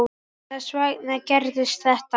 Þess vegna gerðist þetta.